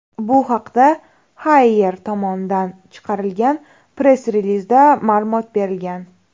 Bu haqda Haier tomonidan chiqarilgan press-relizda ma’lumot berilgan .